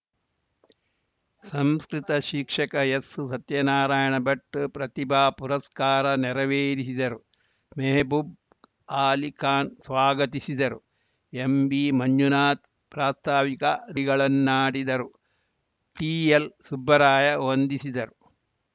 ಸಂಸ್ಕೃತ ಶಿಕ್ಷಕ ಎಸ್‌ ಸತ್ಯನಾರಾಯಣ ಭಟ್‌ ಪ್ರತಿಭಾ ಪುರಸ್ಕಾರ ನೆರವೇರಿಸಿದರು ಮೆಹಬೂಬ್‌ ಆಲಿ ಖಾನ್‌ ಸ್ವಾಗತಿಸಿದರು ಎಂಬಿ ಮಂಜುನಾಥ್‌ ಪ್ರಾಸ್ತಾವಿಕ ನುಡಿಗಳನ್ನಾಡಿದರು ಟಿಎಲ್‌ ಸುಬ್ಬರಾಯ ವಂದಿಸಿದರು